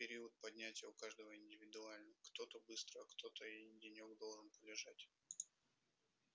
период поднятия у каждого индивидуальный кто-то быстро а кто-то и денёк должен полежать